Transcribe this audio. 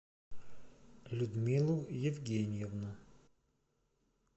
людмилу евгеньевну